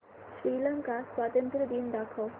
श्रीलंका स्वातंत्र्य दिन दाखव